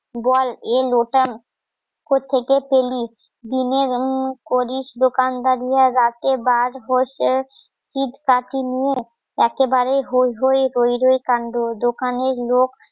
বল এ লোটা কোত্থেকে পেলি? দিনে করিস দোকানদারিয় রাতে বাঁশ একেবারে হৈ হৈ হৈ কান্ড